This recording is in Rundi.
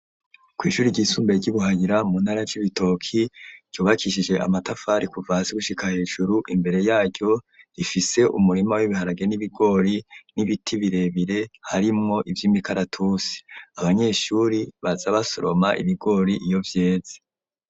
Kw'ishuri ryisumbuye, ry'i Buhayira, mu ntara ya Cibitoke, ryubakishije amatafari, kuva hasi gushika hejuru; imbere yaryo, rifise umurima w'ibiharage n'ibigori, n'ibiti birebire, harimwo ivy'imikaratusi, abanyeshuri, baza basoroma ibigori, iyo vyeze.